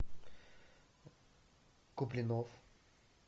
куплинов